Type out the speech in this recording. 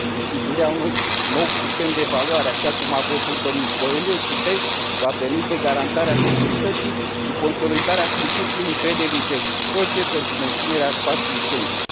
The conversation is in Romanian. Instituirea unui nou sistem de evaluare, așa cum a propus dl Coelho, va permite garantarea securității și consolidarea principiului încrederii reciproce pentru menținerea spațiului Schengen.